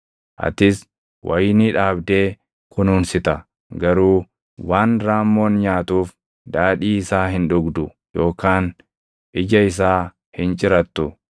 Atis wayinii dhaabdee kunuunsita; garuu waan raammoon nyaatuuf daadhii isaa hin dhugdu yookaan ija isaa hin cirattu.